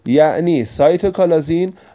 я не сойду